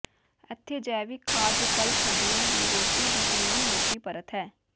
ਇੱਥੇ ਜੈਵਿਕ ਖਾਦ ਵਿਕਲਪ ਹੱਡੀਆਂ ਦੀ ਰੋਟੀ ਦੀ ਚੰਗੀ ਮੋਟੀ ਪਰਤ ਹੈ